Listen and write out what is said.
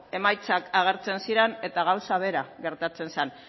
emaitzak agertzen ziran eta gauza bera gertatzen zan